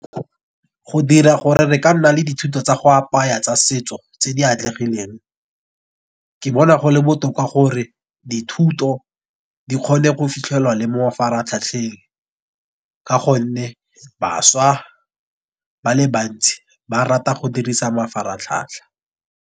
Go dira gore re ka nna le dithuto tsa go apaya tsa setso tse di atlegileng. Ke bona go le botoka gore dithuto di kgone go fitlhelwa le mo mafaratlhatlheng, ka gonne bašwa ba le bantsi ba rata go dirisa mafaratlhatlha.